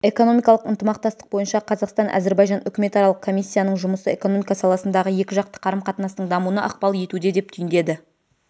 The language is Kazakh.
экономикалық ынтымақтастық бойынша қазақстан-әзірбайжан үкіметаралық комиссияның жұмысы экономика саласындағы екіжақты қарым-қатынастың дамуына ықпал етуде деп түйіндеді